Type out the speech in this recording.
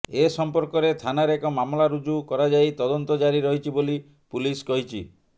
ଏ ସଂପର୍କରେ ଥାନାରେ ଏକ ମାମଲା ରୁଜୁ କରାଯାଇ ତଦନ୍ତ ଜାରି ରହିଛି ବୋଲି ପୁଲିସ କହିଛି